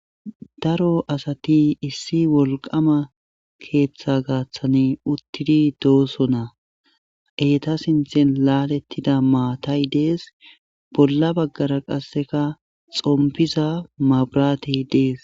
Daro asati issi wolqaama keeththa gaaththani uttidi doosona eeta sinthen laalettida maatay dees bolla baggara qasseka xompiza maburatey dees.